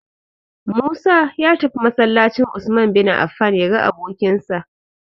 Musa ya tafi masallacin "Usman bin Affan" ya ga abokinsa.